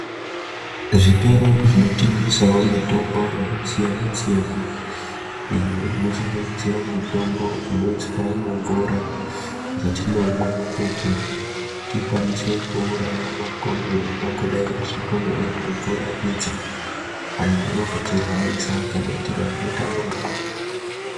Zvitoro zvinotengesawo mitombo yakasiyana -siyana iyo inosanganisire mitombo inoiswa mumvura dzatinomwa kuti tikwanise kuuraya makonye angangodai achipona ari mumvura idzi ayo anozotirwarisa kana tikange tamamwa.